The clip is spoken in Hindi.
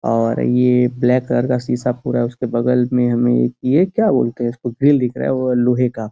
और ये ब्लैक कलर का शीशा पूरा है उसके बगल में हमे ये क्या बोलते हैं इस को ग्रिल दिख रहा लोहे का।